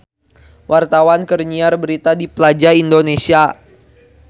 Wartawan keur nyiar berita di Plaza Indonesia